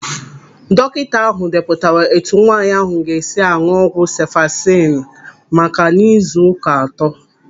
Dọkịta ahụ depụtara etu nwaanyị ahụ ga-esi aṅụ ọgwụ sefalezinu maka n'izu ụka atọ.